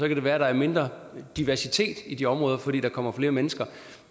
det være at der er mindre diversitet i de områder fordi der kommer flere mennesker